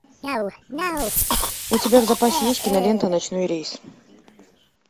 у тебя в запасе есть кинолента ночной рейс